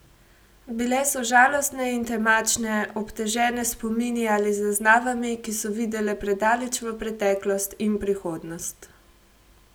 Bile so žalostne in temačne, obtežene s spomini ali zaznavami, ki so videle predaleč v preteklost in prihodnost.